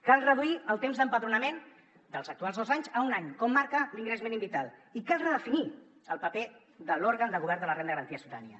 cal reduir el temps d’empadronament dels actuals dos anys a un any com marca l’ingrés mínim vital i cal redefinir el paper de l’òrgan de govern de la renda garantida de ciutadania